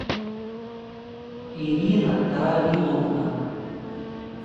ирина равиловна